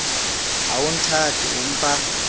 ha o nthate o mpa